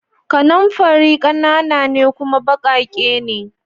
kananfari kanana ne kuma bakake ne